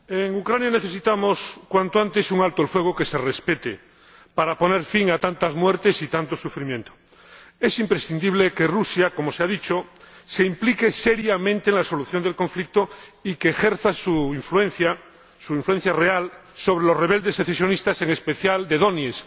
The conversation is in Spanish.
Señor Presidente, en Ucrania necesitamos cuanto antes un alto el fuego que se respete, para poner fin a tantas muertes y tanto sufrimiento. Es imprescindible que Rusia —como se ha dicho— se implique seriamente en la solución del conflicto y ejerza su influencia real sobre los rebeldes secesionistas, en especial de Donetsk.